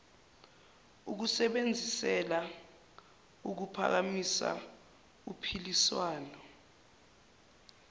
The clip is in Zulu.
ukusebenzisela ukuphakamisa uphiliswano